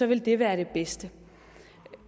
vil det være det bedste